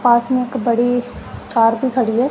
पास में एक बड़ी कार भी खड़ी है।